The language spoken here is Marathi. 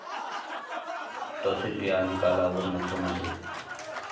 तसेच या निकालावर मुख्यमंत्री.